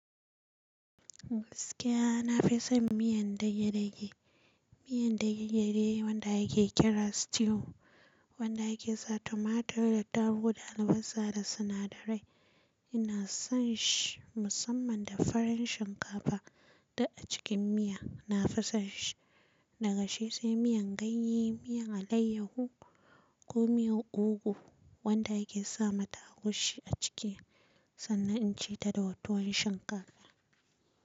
Gaskiya na fi son miyan dage-dage. Miyan dage-dage wanda yake ake kira stew wanda yake sa tomato da attaruhu da albasa da sinadarai. Ina son shi musamman da farin shinkafa da a cikin miya. Na fi son shi. Daga shi sai miyan ganye, miyan alayyahu ko miyan ogo wanda yake sa mata agushi a ciki sannan in ci ta da tuwon shinkafa.